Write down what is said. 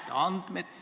Aitäh!